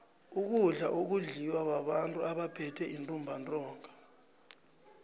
ukudla akudliwa babantu abaphethwe yintumbantinga